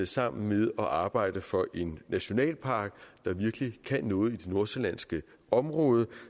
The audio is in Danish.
sammen med at arbejde for en nationalpark der virkelig kan noget i det nordsjællandske område